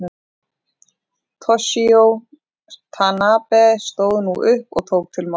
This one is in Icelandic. Toshizo Tanabe stóð nú upp og tók til máls.